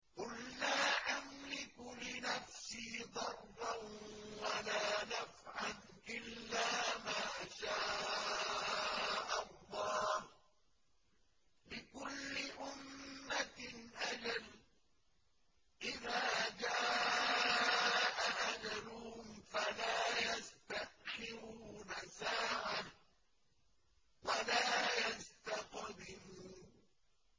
قُل لَّا أَمْلِكُ لِنَفْسِي ضَرًّا وَلَا نَفْعًا إِلَّا مَا شَاءَ اللَّهُ ۗ لِكُلِّ أُمَّةٍ أَجَلٌ ۚ إِذَا جَاءَ أَجَلُهُمْ فَلَا يَسْتَأْخِرُونَ سَاعَةً ۖ وَلَا يَسْتَقْدِمُونَ